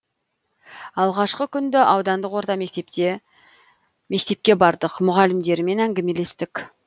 алғашқы күнді аудандық орта мектепке бардық мұғалімдерімен әңгімелестік